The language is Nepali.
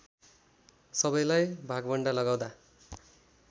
सबैलाई भागवण्डा लगाउँदा